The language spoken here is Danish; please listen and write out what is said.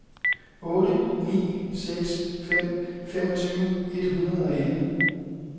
otte ni seks fem femogtyve et hundrede og elleve